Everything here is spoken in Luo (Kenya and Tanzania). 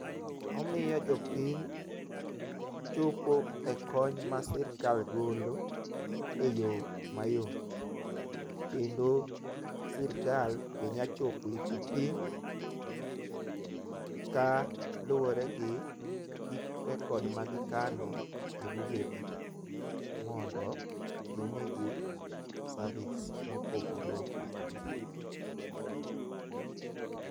omiyo jopiny chopo e kony ma sirikal golo e yoo mayot kendo sirkal be nya chopo ir jopiny kaluwore gi record ma gikano e bugegi mondo gimigi service mopogore opogore